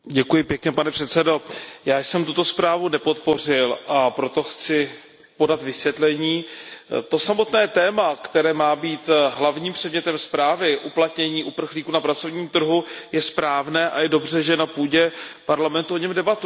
Pane předsedající, já jsem tuto zprávu nepodpořil, a proto chci podat vysvětlení. To samotné téma, které má být hlavním předmětem zprávy, uplatnění uprchlíků na pracovním trhu je správné a je dobře, že na půdě Parlamentu o něm debatujeme.